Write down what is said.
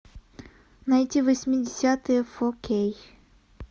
найти восьмидесятые фо кей